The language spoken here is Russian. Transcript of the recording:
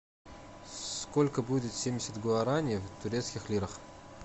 сколько будет семьдесят гуарани в турецких лирах